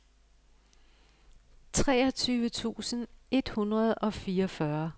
treogtyve tusind et hundrede og fireogfyrre